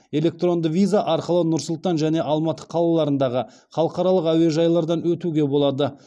электронды виза арқылы нұр сұлтан және алматы қалаларындағы халықаралық әуежайлардан өтуге болады